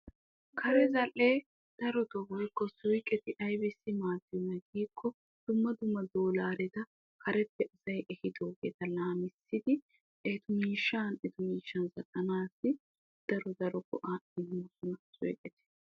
Kare zal"ee woykko suyqeti aybissi maaddiyoonaa giikko dumma dumma doolareta kareppe asay ehiidoogeta lamissiidi etu miishshan etu miishshan qottanaassi daro daro go"aa immiidi beettoosona.